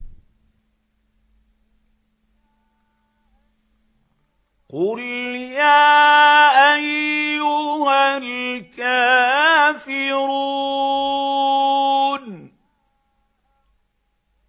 قُلْ يَا أَيُّهَا الْكَافِرُونَ